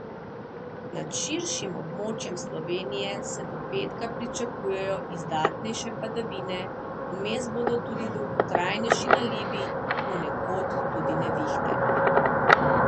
Nad širšim območjem Slovenije se do petka pričakujejo izdatnejše padavine, vmes bodo tudi dolgotrajnejši nalivi, ponekod tudi nevihte.